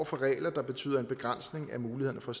for regler der betyder en begrænsning af mulighederne for